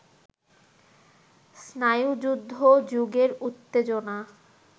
স্নায়ুযুদ্ধ-যুগের উত্তেজনা